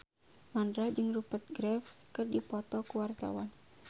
Mandra jeung Rupert Graves keur dipoto ku wartawan